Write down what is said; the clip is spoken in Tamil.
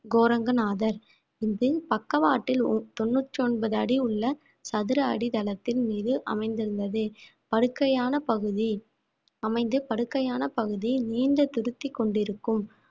கோரங்கநாதர் பக்கவாட்டில் ஒரு தொண்ணூற்று ஒன்பது அடி உள்ள சதுர அடி தளத்தின் மீது அமைந்துள்ளது படுக்கையான பகுதி அமைந்து படுக்கையான பகுதி நீண்ட திருப்தி கொண்டிருக்கும்